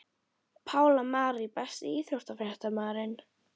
Pála Marie Besti íþróttafréttamaðurinn?